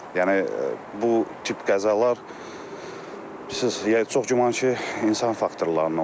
Yəni bu tip qəzalar bilirsiniz, çox güman ki, insan faktorlarından olur da.